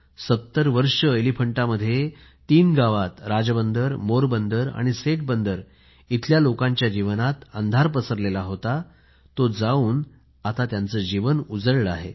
70 वर्षे एलिफंटामध्ये तीन गावात राजबंदर मोरबंदर सेट बंदर इथल्या लोकांच्या जीवनात अंधार पसरला होता तो जाऊन आता त्यांचे जीवन उजळले आहे